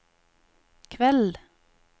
kveld